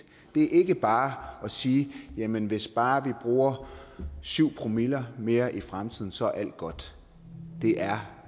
det er ikke bare at sige at jamen hvis bare vi bruger syv promille mere i fremtiden så er alt godt det er